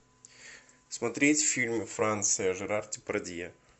смотреть фильм франция жерар депардье